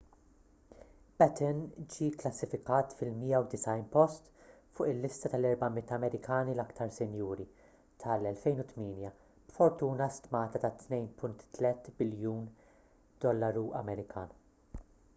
batten ġie kklassifikat fil-190 post fuq il-lista tal-400 amerikani l-iktar sinjuri tal-2008 b'fortuna stmata ta' $2.3 biljun